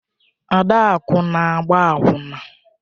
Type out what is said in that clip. Adaku na-agba akwụna.